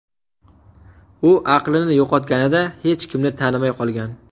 U aqlini yo‘qotganida hech kimni tanimay qolgan.